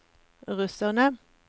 russerne